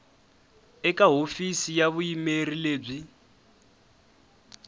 eka hofisi ya vuyimeri lebyi